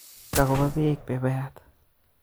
Kakopa beek pepayat